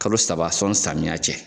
Kalo saba sɔnni sɔmiya cɛ.